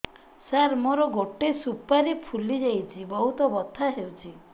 ସାର ମୋର ଗୋଟେ ସୁପାରୀ ଫୁଲିଯାଇଛି ବହୁତ ବଥା ହଉଛି